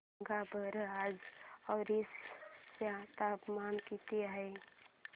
सांगा बरं आज ओरिसा चे तापमान किती आहे